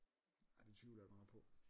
Argh det tvivler jeg godt nok på